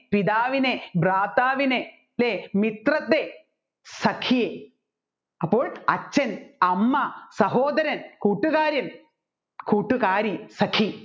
പിതാവിനെ ധാത്രാവിനെ അല്ലെ മിത്രത്തെ സഖി അപ്പോൾ അച്ഛൻ അമ്മ സഹോദരൻ കൂട്ടുകാരൻ കൂട്ടുകാരി സഖി